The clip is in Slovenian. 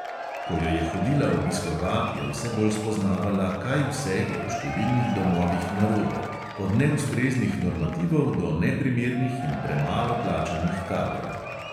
Ko jo je hodila obiskovat, je vse bolj spoznavala, kaj vse je v številnih domovih narobe – od neustreznih normativov do neprimernih in premalo plačanih kadrov.